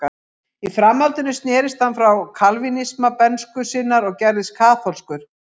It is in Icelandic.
Í framhaldinu snerist hann frá kalvínisma bernsku sinnar og gerðist kaþólskur.